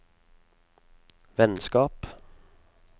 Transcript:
vennskap